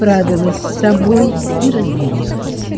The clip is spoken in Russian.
справилась с собой и разревелась